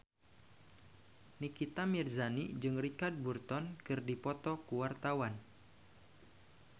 Nikita Mirzani jeung Richard Burton keur dipoto ku wartawan